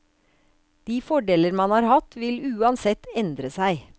De fordeler man har hatt, vil uansett endre seg.